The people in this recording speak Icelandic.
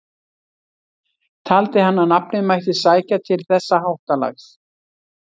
Taldi hann að nafnið mætti sækja til þessa háttalags.